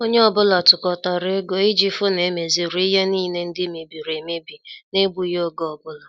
Onye ọ bụla tukọtara ego iji fu na emeziri ihe niile ndị mebiri emebi n' egbughi oge ọbụla